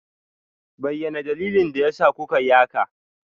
Bayyana dalilin da yasa kuka yi haka!